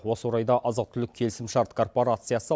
осы орайда азық түлік келісімшарт корпорациясы